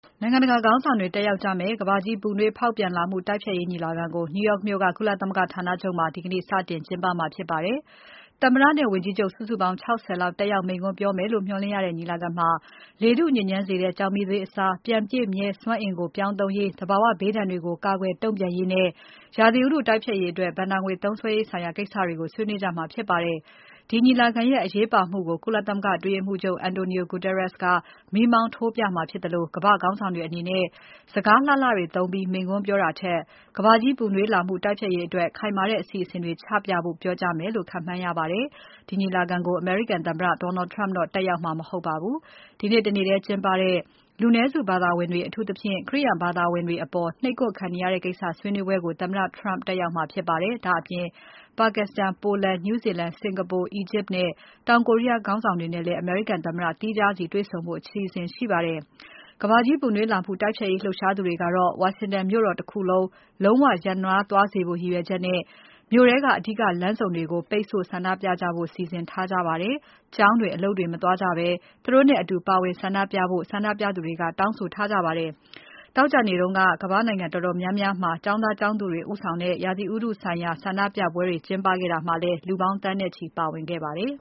နိုင်ငံတကာခေါင်းဆောင်တွေ တက်ရောက်ကြမယ့် ကမ္ဘာကြီး ပူနွေးဖောက်ပြန်လာမှု တိုက်ဖျက်ရေးညီလာခံကို New York မြို့က ကုလသမဂ္ဂဌာနချုပ်မှာ ဒီကနေ့ စတင်ကျင်းပပါတယ်။ သမ္မတနဲ့ ဝန်ကြီးချုပ် စုစုပေါင်း ၆၀ လောက် တက်ရောက်မိန့်ခွန်းပြောမယ်လို့ မျှော်လင့်ရတဲ့ ညီလာခံမှာ လေထုညစ်ညမ်းစေတဲ့ ကျောက်မီးသွေးအစား ပြန်ပြည့်မြဲစွမ်းအင်ကို ပြောင်းသုံးရေး၊ သဘာဝဘေးဒဏ်တွေကို ကာကွယ် တုံ့ပြန်ရေးနဲ့ ရာသီဥတု တိုက်ဖျက်ရေးအတွက် ဘဏ္ဍာငွေသုံးစွဲရေးဆိုင်ရာ ကိစ္စတွေကို ဆွေးနွေးကြမှာ ဖြစ်ပါတယ်။ ဒီညီလာခံရဲ့ အရေးပါမှုကို ကုလသမဂ္ဂ အတွင်းရေးမှူးချုပ် Antonio Guterres က မီးမောင်းထိုးပြမှာ ဖြစ်သလို ကမ္ဘာ့ခေါင်းဆောင်တွေအနေနဲ့ စကားလှလှတွေသုံးပြီး မိန့်ခွန်းပြောတာထက် ကမ္ဘာကြီးပူနွေးလာမှု တိုက်ဖျက်ရေးအတွက် ခိုင်မာတဲ့ အစီအစဉ်တွေချပြဖို့ ပြောကြားမယ်လို့ ခန့်မှန်းရပါတယ်။ ဒီညီလာခံကို အမေရိကန်သမ္မတ Donald Trump တော့ တက်ရောက်မှာမဟုတ်ပါဘူး။ ဒီနေ့ တနေ့ထဲမှာ ကျင်းပတဲ့ လူနည်းစုဘာသာဝင်တွေ၊ အထူးသဖြင့် ခရိယာန် ဘာသာဝင်တွေအပေါ် နှိပ်ကွပ်ခံနေရတဲ့ ကိစ္စဆိုင်ရာ ဆွေးနွေးပွဲကို သမ္မတ Trump တက်ရောက်မှာ ဖြစ်ပါတယ်။ ဒါ့အပြင် Pakistan, Poland, New Zealand, Singapore, Egypt နဲ့ တောင် Korea ခေါင်းဆောင်တွေနဲ့လည်း အမေရိကန်သမ္မတ သီးခြားစီတေ့ွဆုံဖို့ အစီအစဉ် ရှိပါတယ်။ ကမ္ဘာကြီး ပူနွေးလာမှု တိုက်ဖျက်ရေး လှုပ်ရှားသူတွေကတော့ Washington မြို့တော် တခုလုံး လုံးဝရပ်နားသွားစေဖို့ ရည်ရွယ်ချက်နဲ့ မြို့ထဲက အဓိကလမ်းမတွေ၊ အဝင်အထွက်လမ်းတွေ၊ လမ်းဆုံတွေကို ပိတ်ဆို့ ဆန္ဒပြနေကြပါတယ်။ ကျောင်းတွေ၊ အလုပ်တွေ၊ မသွားကြဘဲ သူတို့နဲ့အတူ ပါဝင်ဆန္ဒပြကြဖို့လည်း ဆန္ဒပြသူတွေက ဆော်သြထားကြပါတယ်။ ပြီးခဲ့တဲ့ သောကြာနေ့တုန်းကလည်း ဒီနေ့စတင်တဲ့ ကုလသမဂ္ဂညီလာခံမစခင် အချိန်ကိုက်ပြီး ကမ္ဘာ့နိုင်ငံတော်တော်များများမှာ ကျောင်းသား ကျောင်းသူတွေ ဦးဆောင်တဲ့ ရာသီဥတုဆိုင်ရာ ဆန္ဒပြပွဲတွေ ကျင်းပခဲ့တာမှာ လူပေါင်း သန်းနဲ့ချီ ပါဝင်ခဲ့ကြပါတယ်